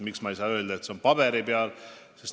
Miks ma ei saa öelda, et see on olemas paberi peal?